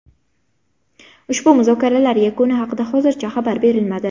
Ushbu muzokaralar yakuni haqida hozircha xabar berilmadi.